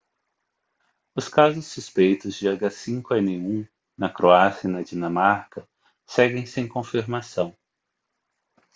os casos suspeitos de h5n1 na croácia e na dinamarca seguem sem confirmação